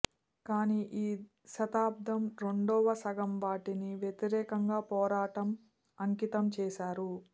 కానీ ఈ శతాబ్దం రెండవ సగం వాటిని వ్యతిరేకంగా పోరాటం అంకితం చేశారు